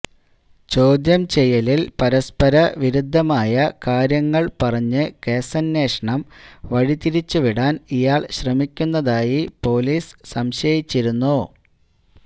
ചോദ്യചെയ്യലില് പരസ്പര വിരുദ്ധമായ കാര്യങ്ങള് പറഞ്ഞ് കേസന്വേഷണം വഴിതിരിച്ചു വിടാന് ഇയാള് ശ്രമിക്കുന്നതായി പോലീസ് സംശയിച്ചിരുന്നു